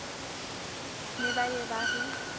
ne ba ye ba re